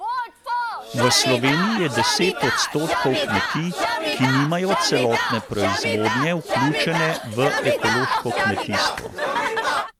V Sloveniji je deset odstotkov kmetij, ki nimajo celotne proizvodnje vključene v ekološko kmetijstvo.